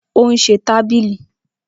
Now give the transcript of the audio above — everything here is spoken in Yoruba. Ó ún se tábìlì.